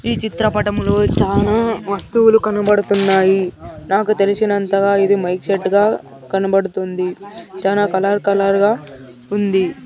ఈ చిత్రపటంలో చానా వస్తువులు కనబడుతున్నాయి నాకు తెలిసినంతగా ఇది మైక్ సెట్ గా కనబడుతుంది చానా కలర్ కలర్ గా ఉంది.